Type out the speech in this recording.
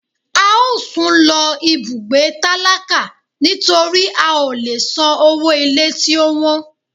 A o sún lo ibùgbé tálákà nitori a o lè sán ọwọ ilé tí o wọ́n.